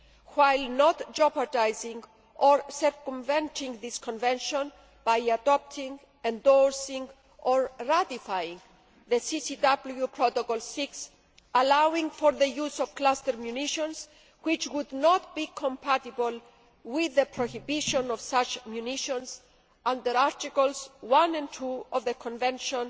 while not jeopardising or circumventing this Convention by adopting, endorsing or ratifying a CCW Protocol VI allowing for the use of cluster munitions which would not be compatible with the prohibition of such munitions under Articles 1 and 2 of the Convention